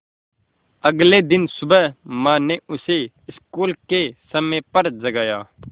अगले दिन सुबह माँ ने उसे स्कूल के समय पर जगाया